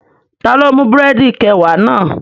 Taló mú búrẹ̀dì kẹwàá náà?